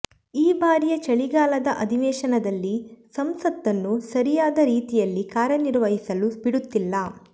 ಈ ಬಾರಿಯ ಚಳಿಗಾಲದ ಅಧಿವೇಶನದಲ್ಲಿ ಸಂಸತ್ತನ್ನು ಸರಿಯಾದ ರೀತಿಯಲ್ಲಿ ಕಾರ್ಯನಿರ್ವಹಿಸಲು ಬಿಡುತ್ತಿಲ್ಲ